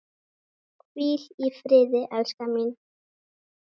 Hvíl í friði, elskan mín.